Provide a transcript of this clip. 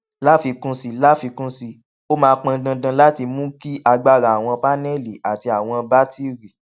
láfikún sí láfikún sí i ó máa pọn dandan láti mú kí agbára àwọn paneli àti àwọn batiri